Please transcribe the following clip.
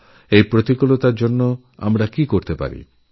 আমরা এই অসুখেরমোকাবিলা কীভাবে করতে পারি